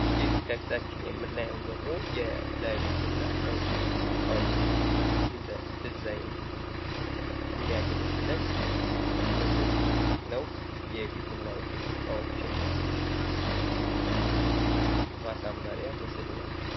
ይህ ከፊታችን የምናየው ደግሞ ለቤትና ለቢሮ እቃዎች እንደ ድዛይን የሚያገለግለን ምስል ነው ። የቤትና የቢሮ እቃዎችን ማሳመሪያ ምስል ነው።